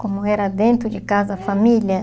Como era dentro de casa, família?